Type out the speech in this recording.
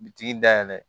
Bitigi da yɛlɛ